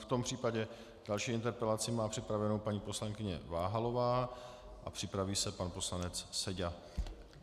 V tom případě další interpelaci má připravenou paní poslankyně Váhalová a připraví se pan poslanec Seďa.